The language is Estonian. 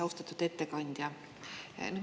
Austatud ettekandja!